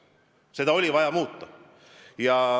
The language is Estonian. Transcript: Seda oli vaja muuta.